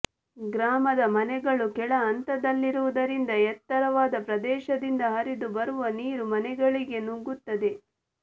ಗ್ರಾಮದ ಮನೆಗಳು ಕೆಳಹಂತದಲ್ಲಿರುವುದರಿಂದ ಎತ್ತರ ವಾದ ಪ್ರದೇಶದಿಂದ ಹರಿದು ಬರುವ ನೀರು ಮನೆಗಳಿಗೆ ನುಗ್ಗುತ್ತದೆ